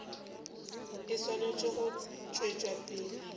e swanetše go tšwetša pele